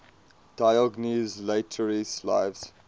diogenes laertius's lives